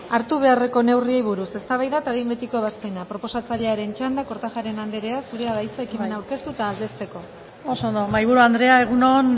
hartu beharreko neurriei buruz eztabaida eta behin betiko ebazpena proposatzailearen txanda kortajarena anderea zurea da hitza ekimena aurkeztu eta aldezteko isiltasuna mesedez oso ondo mahaiburu andrea egun on